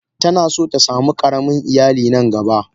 Tana son ta samu karamin iyali nan gaba.